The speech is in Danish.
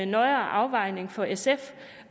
nøjere afvejning for sf